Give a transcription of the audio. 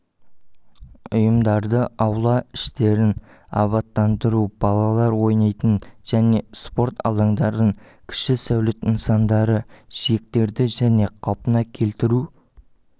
ұйымдарды аула іштерін абаттандыру балалар онайтын және спорт алаңдарын кіші сәулет нысандары жиектерді және қалпына келтіру